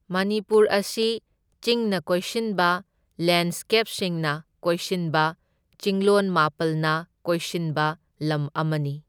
ꯃꯅꯤꯄꯨꯔ ꯑꯁꯤ ꯆꯤꯡꯅ ꯀꯣꯏꯁꯤꯟꯕ ꯂꯦꯟꯁꯀꯦꯞꯁꯤꯡꯅ ꯀꯣꯏꯁꯤꯟꯕ ꯆꯤꯡꯂꯣꯟ ꯃꯥꯄꯜꯅ ꯀꯣꯏꯁꯤꯟꯕ ꯂꯝ ꯑꯃꯅꯤ꯫